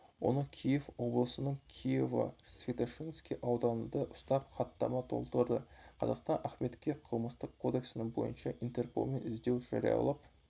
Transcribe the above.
оны киев облысының киево-святошинский ауданында ұстап хаттама толтырды қазақстан ахметке қылмыстық кодексінің бойынша интерполмен іздеу жариялап